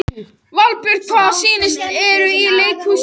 Valbjörg, hvaða sýningar eru í leikhúsinu á fimmtudaginn?